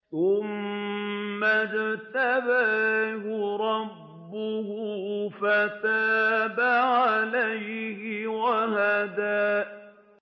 ثُمَّ اجْتَبَاهُ رَبُّهُ فَتَابَ عَلَيْهِ وَهَدَىٰ